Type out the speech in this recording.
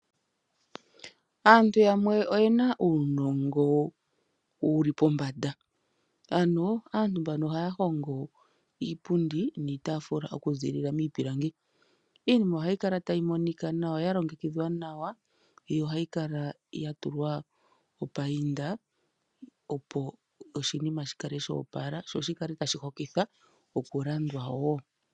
Aantu yamwe oye na uunongo wuli pombanda ano aantu mbano oha yahongo iipundi niitaafula oku ziilila miipilangi. IInima oha yikala ta yi monika nawa ya longekidhwa nawa yo oha yikala yatulwa opainda opo oshinima shi kale sha opala sho shi kale ta shihokitha okulandwa woo.